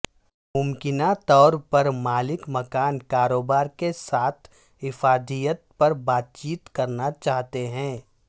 ممکنہ طور پر مالک مکان کاروبار کے ساتھ افادیت پر بات چیت کرنا چاہتے ہیں